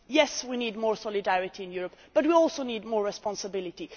Yes, we need more solidarity in Europe, but we also need more responsibility.